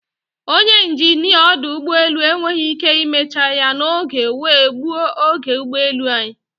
Ọnye injinia ọdụ ụgbọelụ enweghị ike imecha ya n'oge wee gbuo oge ụgbọelu anyị.